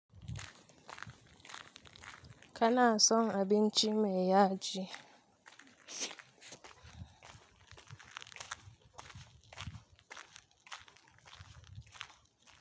Kana son abinci mai yaji?